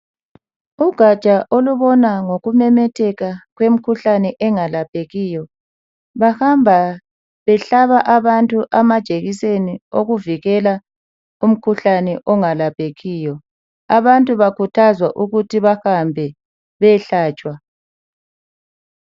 Kugatsha olubona ngokumemetheka kwemikhuhlane engalaphekiyo bahamba behlaba abantu amajekiseni okuvikela umkhuhlane ongalaphekiyo. Abantu bakhuthazwa ukuthi bahambe beyehlatshwa.